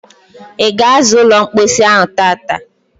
Ị ga asa ụlọ mposi ahụ tata?